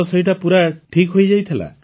ତ ସେଇଟା ପୂରା ଠିକ୍ ହେଇଯାଇଥିଲା